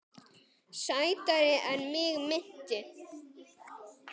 Sætari en mig minnti.